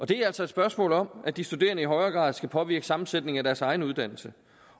det er altså et spørgsmål om at de studerende i højere grad skal påvirke sammensætningen af deres egen uddannelse